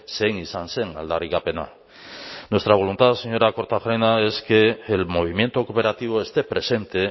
zein izan zen aldarrikapena nuestra voluntad señora kortajarena es que el movimiento cooperativo esté presente